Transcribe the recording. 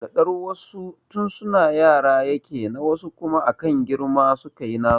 Dadar wasu tun suna yara yake na wasu kuma akan girma suka yi nasu